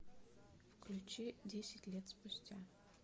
включи десять лет спустя